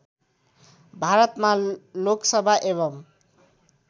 भारतमा लोकसभा एवं